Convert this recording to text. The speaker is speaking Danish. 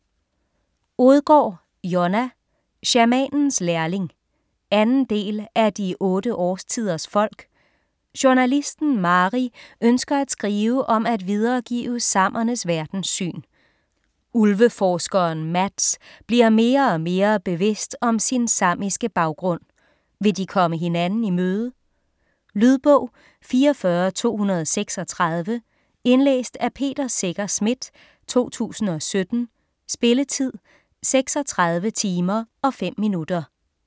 Odgaard, Jonna: Shamanens lærling 2. del af De otte årstiders folk. Journalisten Mari ønsker at skrive om at videregive samernes verdenssyn. Ulveforskeren Mats bliver mere og mere bevidst om sin samiske baggrund. Vil de komme hinanden i møde? Lydbog 44236 Indlæst af Peter Secher Schmidt, 2017. Spilletid: 36 timer, 5 minutter.